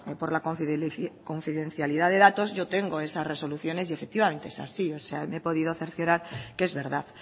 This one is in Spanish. por la confidencialidad de datos yo tengo esas resoluciones y efectivamente es así me he podido cerciorar que es verdad